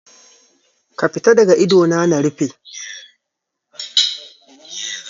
Ka fita daga idona na rufe.